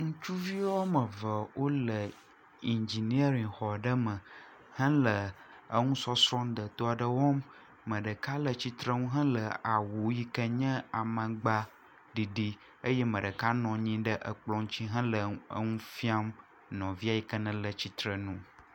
Ŋutsuvi woame eve wole indzinieri xɔ aɖe me hele enusɔsrɔ̃ deto aɖe wɔm, ame ɖeka le tsitrenu hele awu yike nye amagba ɖiɖi, eye ame ɖeka nɔ anyi ɖe ekplɔ ŋuti hele nu fiam nɔvia yike nele tsitre nu.